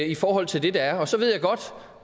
i forhold til det der er så ved jeg godt